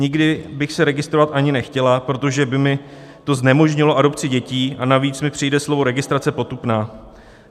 Nikdy bych se registrovat ani nechtěla, protože by mi to znemožnilo adopci dětí, a navíc mi přijde slovo registrace potupné.